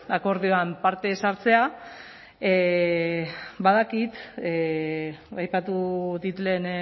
akordioan parte ez hartzea badakit aipatu dit lehen